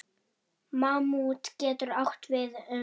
Mammút getur átt við um